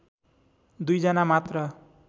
दुईजना मात्र